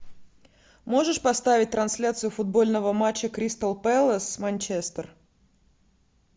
можешь поставить трансляцию футбольного матча кристал пэлас манчестер